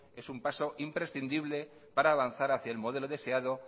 es un paso imprescindible para lanzar hacia el modelo deseado